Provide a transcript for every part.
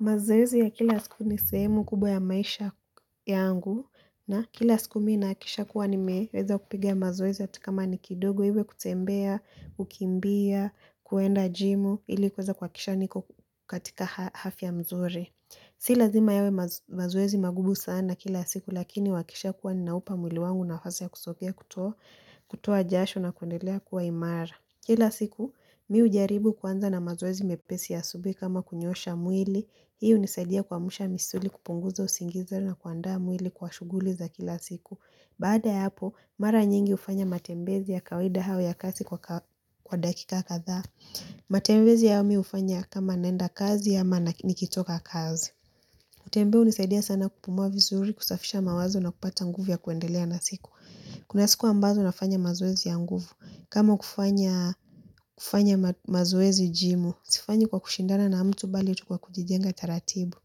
Mazoezi ya kila siku ni sehemu kubwa ya maisha yangu na kila siku mi nahakikisha kuwa nimeweza kupiga mazoezi hata kama ni kidogo iwe kutembea, kukimbia, kuenda jimu ili kuweza kuhakikisha niko katika afya mzuri. Si lazima yawe mazo mazoezi magumu sana kila siku lakini wakishakuwa ninaupa mwili wangu nafasi ya kusogea kutoa jasho na kuendelea kuwa imara. Kila siku, mi hujaribu kuanza na mazoezi mepesi ya asubuhi kama kunyosha mwili. Hii nisaidia kuamsha misuli kupunguza usingizi na kuandaa mwili kwa shughuli za kila siku. Baada ya hapo, mara nyingi hufanya matembezi ya kawaida au ya kasi kwa ka dakika kadhaa. Matembezi yami hufanya kama naenda kazi ama nikitoka kazi. Kutembea hunisaidia sana kupumua vizuri, kusafisha mawazo na kupata nguvu ya kuendelea na siku. Kuna siku ambazo nafanya mazuwezi ya nguvu. Kama kufanya kufanya mazoezi jimu, sifanyi kwa kushindana na mtu bali tu kwa kujijenga taratibu.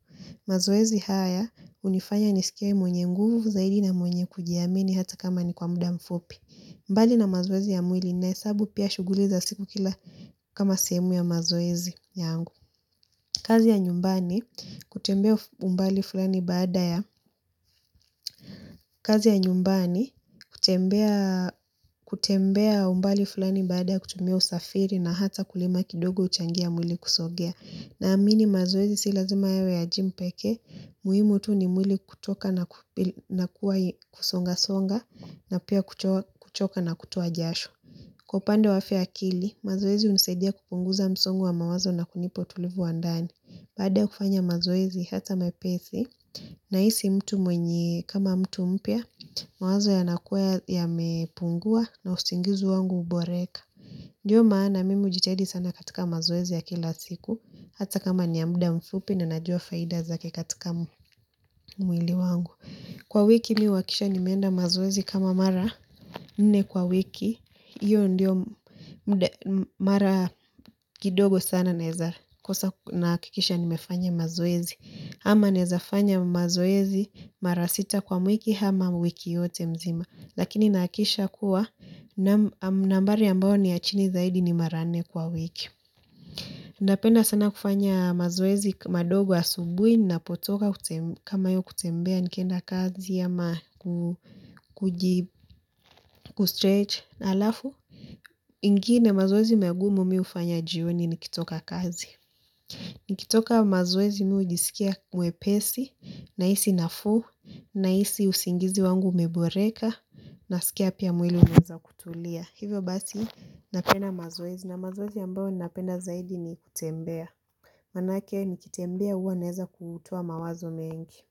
Mazoezi haya, hunifanya nisikie mwenye nguvu zaidi na mwenye kujiamini hata kama ni kwa mda mfupi. Mbali na mazoezi ya mwili nahesabu pia shughuli za siku kila kama sehemu ya mazoezi yangu. Kutembea umbali fulani baada ya kazi ya nyumbani, kutembea kutembea umbali fulani baada ya kutumia usafiri na hata kulima kidogo uhchangia mwili kusogea. Naamini mazoezi si lazima yawe ya gym pekee, muhimu tu ni mwili kutoka na kuwa kusonga songa na pia kuchoka na kutoa jasho. Kwa upande wa afya ya akili, mazoezi hunisaidia kupunguza msongo wa mawazo na kunipa utulivu wa ndani. Baada ya kufanya mazoezi hata mepesi, nahisi mtu mwenye kama mtu mpya, mawazo yanakuwa yamepungua na usingizi wangu huboreka. Ndiyo maana, mimi hujitadi sana katika mazoezi ya kila siku, hata kama ni ya mda mfupi na najua faida zake katika mwili wangu. Kwa wiki mi huhakisha nimeenda mazoezi kama mara nne kwa wiki, hiyo ndio mda mara kidogo sana naeza kosa nahakikisha nimefanya mazoezi. Ama naeza fanya mazoezi mara sita kwa mwiki ama wiki yote mzima. Lakini nahakisha kuwa nambari ambayo ni ya chini zaidi ni mara nne kwa wiki. Napenda sana kufanya mazoezi madogo asubuhi napotoka kute kama hiyo kutembea nikenda kazi ama ku kuji kustretch halafu. Ingine mazoezi magumu mi hufanya jioni nikitoka kazi. Nikitoka mazoezi mi hujisikia mwepesi nahisi nafuu nahisi usingizi wangu umeboreka nasikia pia mwili unaeza kutulia. Hivyo basi napenda mazoezi na mazoezi ambayo napenda zaidi ni kutembea. Maanake nikitembea huwa naeza kutoa mawazo mengi.